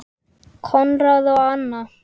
Konráð og Anna.